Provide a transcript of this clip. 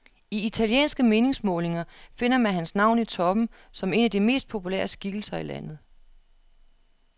I italienske meningsmålinger finder man hans navn i toppen som en af de mest populære skikkelser i landet.